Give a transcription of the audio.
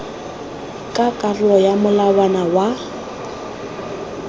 ka karolo ya molawana wa